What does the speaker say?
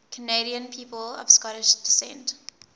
canadian people of scottish descent